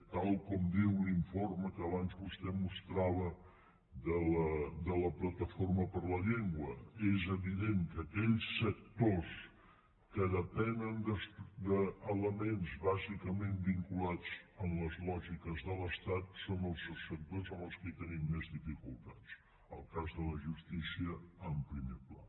tal com diu l’informe que abans vostè mostrava de la plataforma per la llengua és evident que aquells sectors que depenen d’elements bàsicament vinculats a les lògiques de l’estat són els subsectors amb els quals tenim més dificultats el cas de la justícia en primer pla